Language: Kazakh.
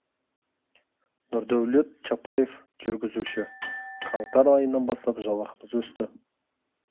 нұрдәулет чапаев жүргізуші қаңтар айынан бастап жалақымыз өсті